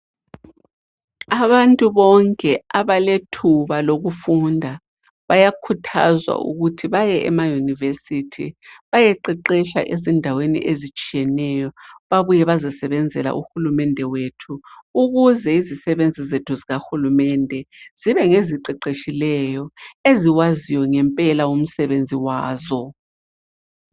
Abantu bonke abalethuba lokufunda bayakhuthazwa ukuthi baye emayunivesithi bayeqeqetsha ezindaweni ezitshiyeneyo babuye bazosebenzela Uhulumende wethu, ukuze izisebenzi zethu zikahulumende zibe ngeziqeqetshileyo eziwaziyo ngempela umsebenzi wazo.